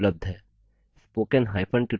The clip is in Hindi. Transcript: इस mission पर अधिक जानकारी निम्न लिंक पर उपलब्ध है